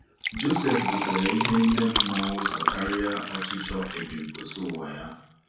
Josef butere ihe ime mmụọ ụzọ karịa ọchịchọ ebumpụta ụwa ya.